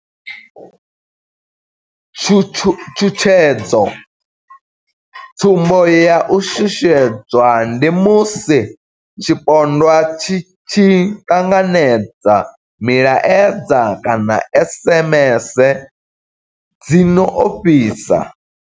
Tshutshedzo, sumbo ya u shushedzwa ndi musi tshipondwa tshi tshi ṱanganedza milaedza kana SMS dzi no ofhisa.